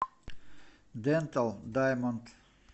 дентал даймонд